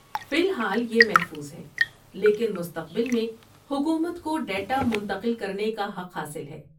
فی الحال یہ محفوظ ہے، لیکن مستقبل میں حکومت کو ڈیٹا منتقل کرنے کا حق حاصل ہے۔